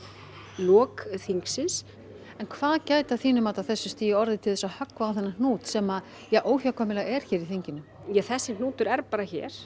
lok þingsins en hvað gæti að þínu mati á þessu stigi orðið til að höggva á þennan hnút sem óhjákvæmilega er hér í þinginu þessi hnútur er bara hér